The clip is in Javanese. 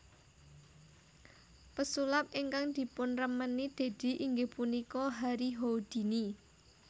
Pesulap ingkang dipunremeni Deddy inggih punika Harry Houdini